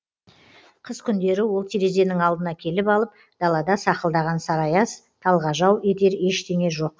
қыс күндері ол терезенің алдына келіп алып далада сақылдаған сары аяз талғажау етер ештеңе жоқ